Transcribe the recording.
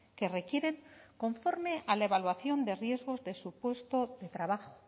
que requieren conforme a la evaluación de riesgos de su puesto de trabajo